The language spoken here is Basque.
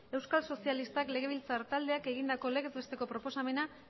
euskal sozialistak legebiltzar taldeak egindako legez besteko proposamena